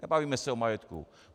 Nebavíme se o majetku.